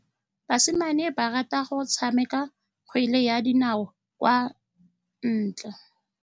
Basimane ba rata go tshameka kgwele ya dinaô kwa ntle.